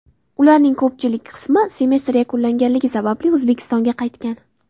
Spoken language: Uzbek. Ularning ko‘pchilik qismi semestr yakunlanganligi sababli O‘zbekistonga qaytgan.